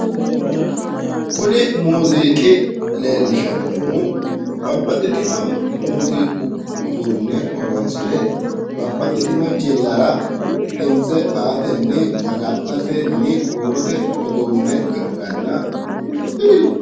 Kuni muuziiqi leellishannohu babbaxxitino muuziiqu uduunne horonsire babbaxxitino jillara dimitse aatenni maga'natenni huurote uduunne ikkanna